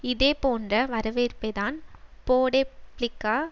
இதே போன்ற வரவேற்பைத்தான் போடேப்ளிகா